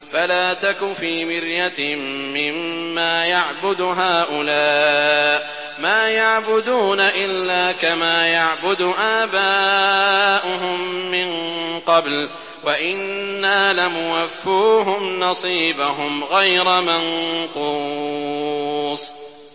فَلَا تَكُ فِي مِرْيَةٍ مِّمَّا يَعْبُدُ هَٰؤُلَاءِ ۚ مَا يَعْبُدُونَ إِلَّا كَمَا يَعْبُدُ آبَاؤُهُم مِّن قَبْلُ ۚ وَإِنَّا لَمُوَفُّوهُمْ نَصِيبَهُمْ غَيْرَ مَنقُوصٍ